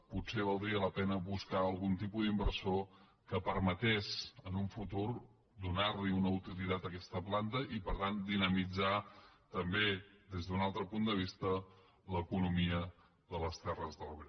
potser valdria la pena buscar algun tipus d’inversor que permetés en un futur donar una utilitat a aquesta planta i per tant dinamitzar també des d’un altre punt de vista l’economia de les terres de l’ebre